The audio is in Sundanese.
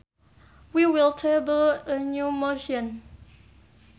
We will table a new motion